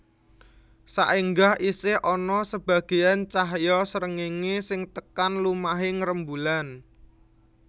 Saéngga isih ana sebagéyan cahya srengéngé sing tekan lumahing rembulan